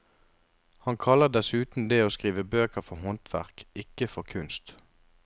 Han kaller dessuten det å skrive bøker for håndverk, ikke for kunst.